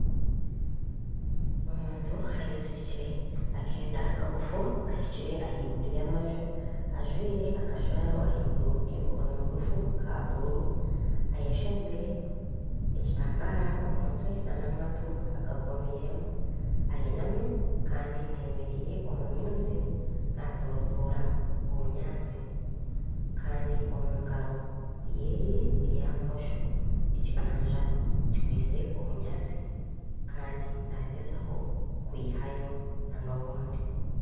omuntu eyezirikire akeenda kagufu kahikire ahaiguru y'amaju, ajwire akajwaro ahaiguru k'emikono migufu ka bururu eyeshembire omu mutwe nana amatu agakomiiremu ayinami kandi ayemeereire omu maizi naatorotoora obunyatsi kandi omu ngaaro ye eya bumosho ekiganza kikwitse obunyatsi kandi naagyezaho kwihayo n'obundi